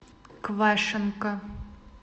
квашенко